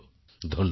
ধন্যবাদ